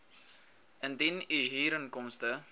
indien u huurinkomste